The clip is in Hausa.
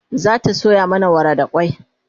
zata soya mana wara da kwai